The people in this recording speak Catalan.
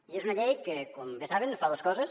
i és una llei que com bé saben fa dos coses